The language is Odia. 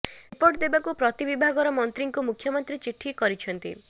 ରିପୋର୍ଟ ଦେବାକୁ ପ୍ରତି ବିଭାଗର ମନ୍ତ୍ରୀଙ୍କୁ ମୁଖ୍ୟମନ୍ତ୍ରୀ ଚିଠି କରିଛନ୍ତି